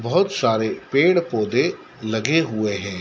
बहुत सारे पेड़ पौधे लगे हुए हैं।